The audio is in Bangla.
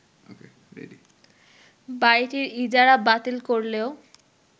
বাড়িটির ইজারা বাতিল করলেও